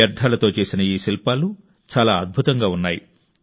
చెత్తతో చేసిన ఈ శిల్పాలు చాలా అద్భుతంగా ఉన్నాయి